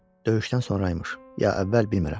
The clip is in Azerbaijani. Döyüşdən sonraymış, ya əvvəl bilmirəm.